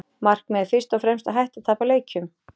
Markmiðið er fyrst og fremst að hætta að tapa leikjum.